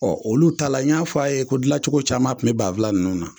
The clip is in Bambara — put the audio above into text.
Ɔ olu ta la n y'a fɔ a' ye ko dilancogo caman tun bɛ banfula ninnu na